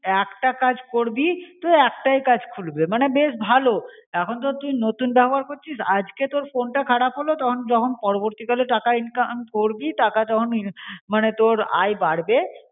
একটা কাজ করবি তো একটাই কাজ খুলবে মনে বেশ ভালো. এখন তো তুই নতুন ব্যবহার করছিস আজকে তোর ফোনটা খারাপ হলো তখন যখন পরবর্তী কালে টাকা income করবি টাকা যখন মনে তোর আয়ে বাড়বে